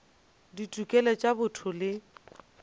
ya ditokelo tša botho le